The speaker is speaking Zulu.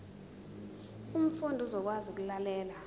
umfundi uzokwazi ukulalela